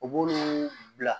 U b'olu bila